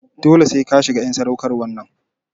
Dole sai ka shiga en sadaukarwan nan!